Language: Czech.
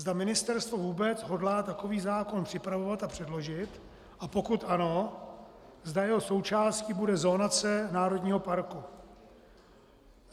Zda ministerstvo vůbec hodlá takový zákon připravovat a předložit, a pokud ano, zda jeho součástí bude zonace národního parku.